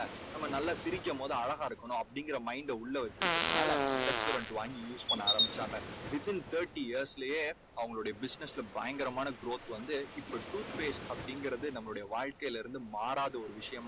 நம்ம நல்லா சிரிக்கும் போது அழகா இருக்கணும் அப்படீங்கற mind அ உள்ள வெச்சுருக்குறதுனால Pepsodent வாங்கி use பண்ண ஆரம்பிச்சாங்க. within thirty years லேயே அவங்களுடைய business ல பயங்கரமான growth வந்து இப்போ tooth paste அப்படீங்கறது நம்ம வாழ்க்கையிலேருந்து மாறாத ஒரு விஷயம்